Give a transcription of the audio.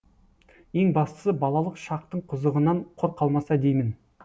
ең бастысы балалық шақтың қызығынан құр қалмаса деймін